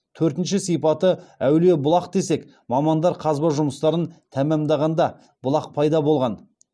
төртінші сипаты әулие бұлақ десек мамандар қазба жұмыстарын тәмамдағанда бұлақ пайда болған